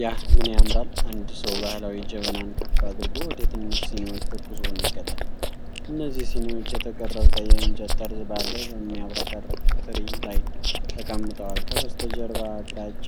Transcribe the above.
ያ ምን ያምራል! አንድ ሰው ባህላዊ ጀበናን ከፍ አድርጎ ወደ ትንሽ ሲኒዎች ትኩስ ቡና ይቀዳል። እነዚህ ሲኒዎች የተቀረጸ የእንጨት ጠርዝ ባለው በሚያብረቀርቅ ትሪ ላይ ተቀምጠዋል። ከበስተጀርባ ግራጫ